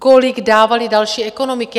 Kolik dávaly další ekonomiky?